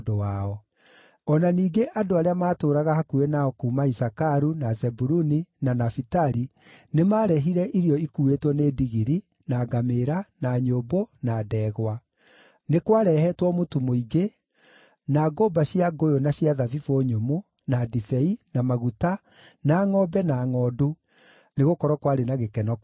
O na ningĩ andũ arĩa maatũũraga hakuhĩ nao kuuma Isakaru, na Zebuluni, na Nafitali nĩmarehire irio ikuuĩtwo nĩ ndigiri, na ngamĩĩra, na nyũmbũ, na ndegwa. Nĩ kwarehetwo mũtu mũingĩ, na ngũmba cia ngũyũ na cia thabibũ nyũmũ, na ndibei, na maguta, na ngʼombe, na ngʼondu, nĩgũkorwo kwarĩ na gĩkeno kũu Isiraeli.